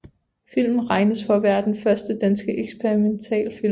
Filmen regnes for at være den første danske eksperimentalfilm